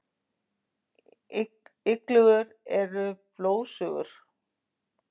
Iglur eru blóðsugur.